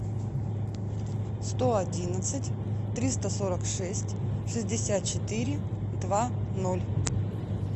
сто одиннадцать триста сорок шесть шестьдесят четыре два ноль